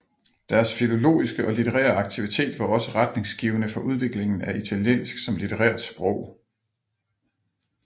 Deres filologiske og litterære aktivitet var også retningsgivende for udviklingen af italiensk som litterært sprog